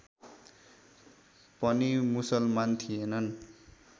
पनि मुसलमान थिएनन्